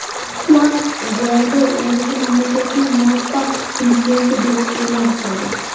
Xuan Guaydo o‘zini mamlakatning muvaqqat prezidenti deb e’lon qildi.